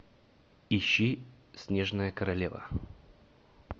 ищи снежная королева